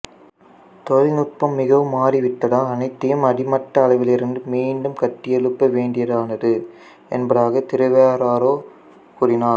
தொழில்நுட்பம் மிகவும் மாறிவிட்டதால் அனைத்தையும் அடிமட்ட அளவிலிருந்து மீண்டும் கட்டியெழுப்ப வேண்டியதானது என்பதாக திரெவாரோ கூறினார்